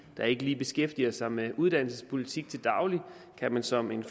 der ikke lige beskæftiger sig med uddannelsespolitik til daglig kan man som en